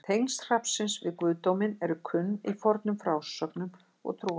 Tengsl hrafnsins við guðdóminn eru kunn í fornum frásögnum og trúarbrögðum.